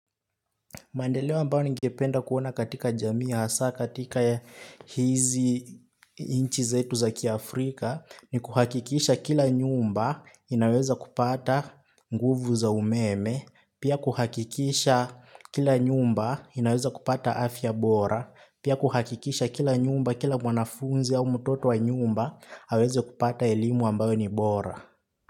Maendeleo ambayo ningependa kuona katika jamii hasa vijana katika hizi inchi zetu za kiaafrika ni kuhakikisha kila nyumba inaweza kupata nguvu za umeme, pia kuhakikisha kila nyumba inaweza kupata afya bora, pia kuhakikisha kila nyumba kila mwanafunzi au mtoto wa nyumba aweze kupata elimu ambayo ni bora.